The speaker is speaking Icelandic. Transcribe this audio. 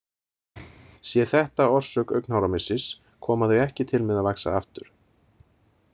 Sé þetta orsök augnháramissis koma þau ekki til með að vaxa aftur.